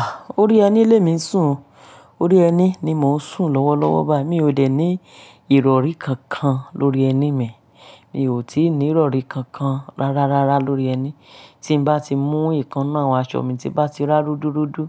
Ah! Orí ẹní lè mi ń sún un. Orí ẹní ni mò ń sùn lọ́wọ́ lọ́wọ́. Bà yìí mí ò dẹ̀ ní ìrọrí kankan lórí ẹní mi. Mi ò tí ì ní ìrọrí kankan rárá rárá lórí ẹní. Tí n bá ti mú ìkaná àwọn aṣọ mi tí bá ti rá rúdurúdu,